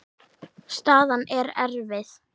Staðan er erfið.